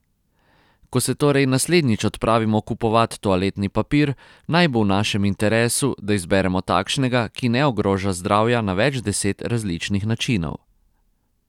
Ko se torej naslednjič odpravimo kupovat toaletni papir, naj bo v našem interesu, da izberemo takšnega, ki ne ogroža zdravja na več deset različnih načinov.